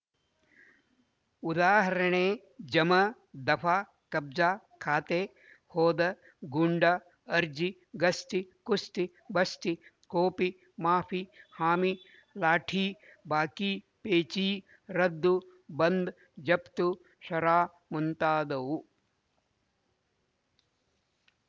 ಉದಾಹರಣೆ ಜಮ ದಫಾ ಕಬ್ಜಾ ಖಾತೆ ಹೋದ ಗೂಂಡ ಅರ್ಜಿ ಗಸ್ತಿ ಕುಸ್ತಿ ಬಸ್ತಿ ಕೊಪಿ ಮಾಫಿ ಹಾಮಿ ಲಾಠೀ ಬಾಕೀ ಪೇಚೀ ರದ್ದು ಬಂದ್ ಜಪ್ತು ಶರಾ ಮುಂತಾದವು